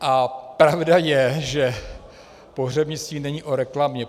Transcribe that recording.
A pravda je, že pohřebnictví není o reklamě.